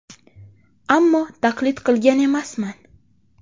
Ammo taqlid qilgan emasman.